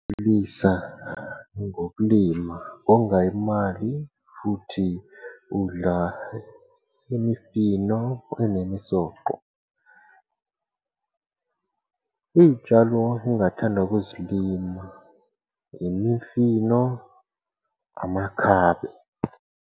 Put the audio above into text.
ngokulima, konga imali futhi udla imifino enemisoco . Iy'tshalo engathanda ukuzilima, imifino, amakhabe.